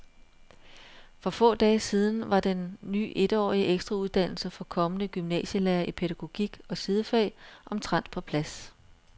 For få dage siden var den ny etårige ekstrauddannelse for kommende gymnasielærere i pædagogik og sidefag omtrent på plads.